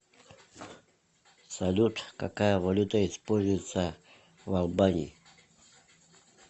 салют какая валюта используется в албании